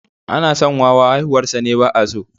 Ana son wawa, haihuwarsa ne ba’a so.